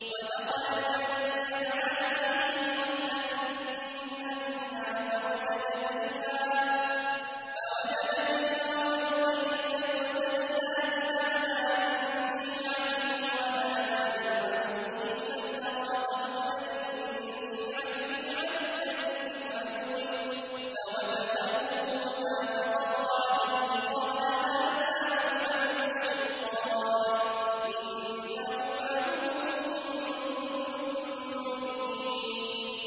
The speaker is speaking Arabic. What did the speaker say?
وَدَخَلَ الْمَدِينَةَ عَلَىٰ حِينِ غَفْلَةٍ مِّنْ أَهْلِهَا فَوَجَدَ فِيهَا رَجُلَيْنِ يَقْتَتِلَانِ هَٰذَا مِن شِيعَتِهِ وَهَٰذَا مِنْ عَدُوِّهِ ۖ فَاسْتَغَاثَهُ الَّذِي مِن شِيعَتِهِ عَلَى الَّذِي مِنْ عَدُوِّهِ فَوَكَزَهُ مُوسَىٰ فَقَضَىٰ عَلَيْهِ ۖ قَالَ هَٰذَا مِنْ عَمَلِ الشَّيْطَانِ ۖ إِنَّهُ عَدُوٌّ مُّضِلٌّ مُّبِينٌ